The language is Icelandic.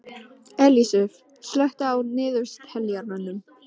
Ellisif, slökktu á niðurteljaranum.